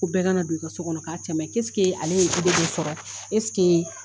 Ko bɛɛ ka na don i ka so kɔnɔ ka cɛmaɲin a le ye do sɔrɔ,